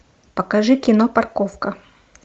покажи кино парковка